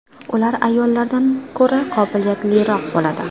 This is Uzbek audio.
Ular ayollardan ko‘ra qobiliyatliroq bo‘ladi.